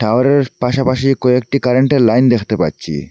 ঘরের পাশাপাশি কয়েকটি কারেন্টের লাইন দেখতে পাচ্ছি।